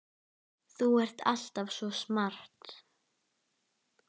Þú ert alltaf svo smart.